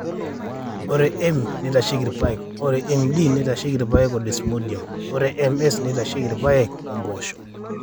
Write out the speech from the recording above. ore M neitasheiki irpaek, ore MD neitasheiki irpaek o Desmodium, ore MS neitasheiki irpaek o mpoosho.